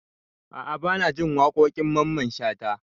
A'a banajin waƙoƙin mamman shata